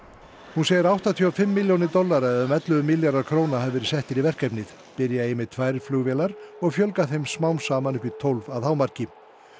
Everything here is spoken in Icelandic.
hún segir að áttatíu og fimm milljónir dollara eða um ellefu milljarðar króna hafi verið settir í verkefnið byrja eigi með tvær flugvélar og fjölga þeim smám saman upp í tólf að hámarki